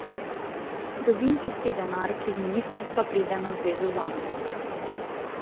Dobim tisti denar, ki z ministrstva pride na zvezo zame.